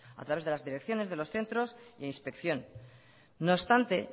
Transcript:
a través de las direcciones de los centros y de inspección no obstante